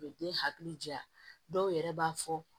U bɛ den hakili ja dɔw yɛrɛ b'a fɔ